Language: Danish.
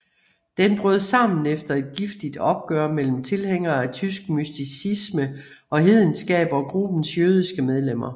Den brød sammen efter et giftigt opgør mellem tilhængere af tysk mysticisme og hedenskab og gruppens jødiske medlemmer